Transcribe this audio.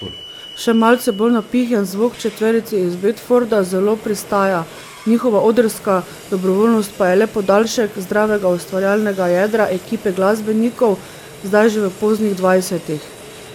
Še malce bolj napihnjen zvok četverici iz Bedforda zelo pristaja, njihova odrska dobrovoljnost pa je le podaljšek zdravega ustvarjalnega jedra ekipe glasbenikov zdaj že v poznih dvajsetih.